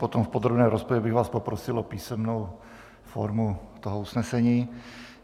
Potom v podrobné rozpravě bych vás poprosil o písemnou formu toho usnesení.